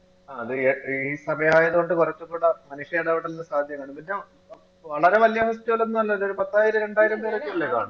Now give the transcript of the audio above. അത് ഏർ ഈ ഈ സമയായത് കൊണ്ട് കൊറച്ചും കൂട സാധ്യതകാണും എന്ന് വച്ചാ വളരെ വല്യ ഒന്നും അല്ലല്ലോ പത്തായിരം രണ്ടായിരം പേരൊക്കെല്ലേ കാണു